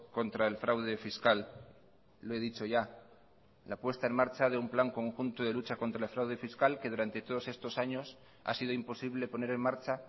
contra el fraude fiscal lo he dicho ya la puesta en marcha de un plan conjunto de lucha contra el fraude fiscal que durante todos estos años ha sido imposible poner en marcha